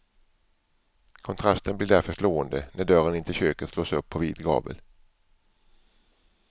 Kontrasten blir därför slående när dörren in till köket slås upp på vid gavel.